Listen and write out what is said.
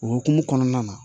O hukumu kɔnɔna na